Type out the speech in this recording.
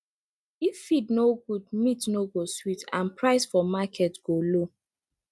if feed no good meat no go sweet and price for market go low